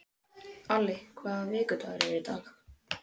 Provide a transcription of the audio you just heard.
Alli, hvaða vikudagur er í dag?